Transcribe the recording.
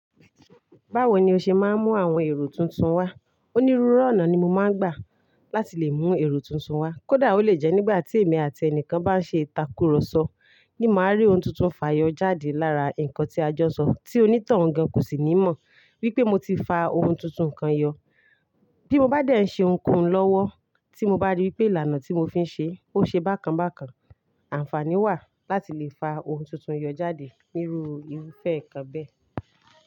Báwo ni o ṣe máa ń mú àwọn èrò tuntun wá? Onírúurú ọ̀nà ni mo máa ń gbà láti lè mú èrò tuntun wá. Kódà ó lè jẹ́ nígbà tí èmi àti ẹnìkan bá ń ṣe ìtàkurọ̀sọ ní máa rí ohun tuntun fayọ jáde lára ǹkan tí a jọ ń sọ, tí onítohun gan kò sì ní mọ̀ wípé mo ti fa ohun tuntun kan yọ. Bí mo bá dẹ̀ ń ṣe ohunkóhun lọ́wọ́ tí mo bá rí wípé ìlànà tí mo fi ń ṣe ó ṣe bákan bákan, àǹfààní wà láti lè fa ohun tuntun yọ jáde níru irúfẹ́ ǹkan bẹ́ẹ̀.